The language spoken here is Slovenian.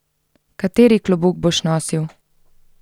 Kateri klobuk boš nosil?